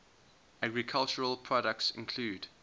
agricultural products include